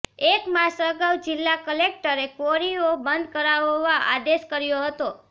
એક માસ અગાઉ જિલ્લા કલેક્ટરે ક્વોરીઓ બંધ કરાવવા આદેશ કર્યો હતો